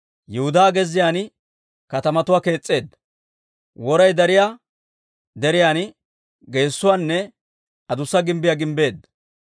Yihudaa gezziyaan katamatuwaa kees's'eedda; woray dariyaa deriyaan geesuwaanne adussa gimbbiyaa gimbbeedda.